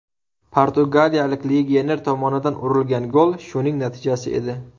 Portugaliyalik legioner tomonidan urilgan gol shuning natijasi edi.